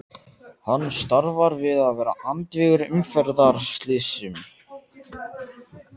Hann starfar við að vera andvígur umferðarslysum.